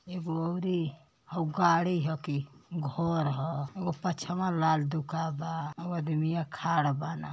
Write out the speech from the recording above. एगो औरी हऊ गाड़ी ह कि घर ह। एगो पछवा लाल दुका बा। हऊ आदमिया खाड़ बान।